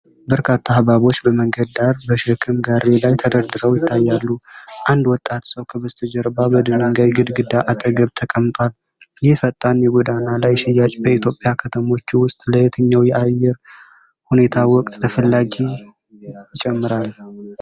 በርካታ ሐብሐቦች በመንገድ ዳር፣ በሸክም ጋሪ ላይ ተደርድረው ይታያሉ። አንድ ወጣት ሰው ከበስተጀርባ በድንጋይ ግድግዳ አጠገብ ተቀምጧል። ይህ ፈጣን የጎዳና ላይ ሽያጭ በኢትዮጵያ ከተሞች ውስጥ ለየትኛው የአየር ሁኔታ ወቅት ተፈላጊነት ይጨምራል?